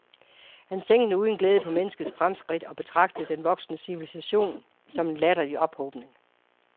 Han tænkte uden glæde på menneskets fremskridt og betragtede den voksende civilisationen som en latterlig ophobning.